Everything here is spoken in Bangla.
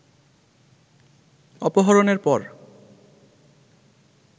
অপহরণের পর